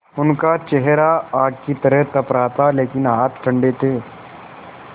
उनका चेहरा आग की तरह तप रहा था लेकिन हाथ ठंडे थे